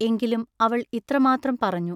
എങ്കിലും അവൾ ഇത്ര മാത്രം പറഞ്ഞു.